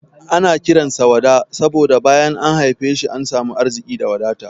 Ana kiran sa Wada saboda bayan an haife shi an samu arziki da wadata.